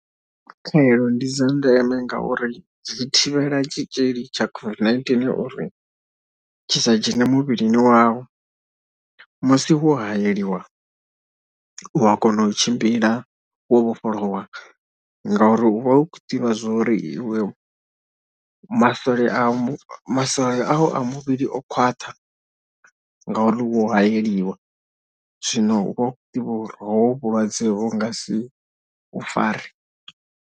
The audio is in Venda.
Khaelo ndi dza ndeme ngauri zwi thivhela tshi tshitzhili tsha COVID uri tshi sa dzhene muvhilini wau. Musi wo hayeliwa u a kona u tshimbila wo vhofholowa ngauri u vha u ḓivha zwo ri iwe masole a, masole au a muvhili o khwaṱha ngauri u vha wo hayeliwa. Zwino u vha u khou ḓivha uri hovhu vhulwadze vhu nga si u fare.